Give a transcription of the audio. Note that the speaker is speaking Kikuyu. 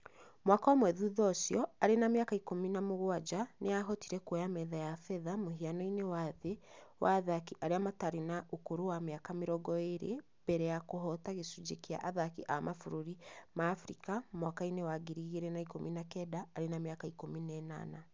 Mwaka ũmwe thutha ũcio, arĩ na mĩaka 17, nĩ aahotire kũoya metha ya betha mũhiano-inĩ wa thĩ wa athaki arĩa matarĩ na ũkũrũ wa mĩaka 20 mbere ya kũhoota gĩcunjĩ kĩa athaki a mabũrũri ma Abirika mwaka-inĩ wa 2019 arĩ na mĩaka 18.